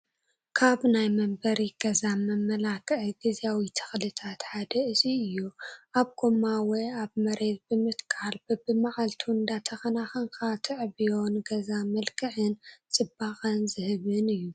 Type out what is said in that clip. ካብ ናይ መንበሪ ገዛ መመላኸዒ ግዚያዊ ተኽልታት ሓደ እዚ እዩ፡፡ ኣብ ጎማ ወይ ኣብ መሬት ብምትካል በቢማዓልቱ እንዳተኸናኸንካ ተዕብዮ ንገዛ መልክዕን ፅባቐን ዝህብን እዩ፡፡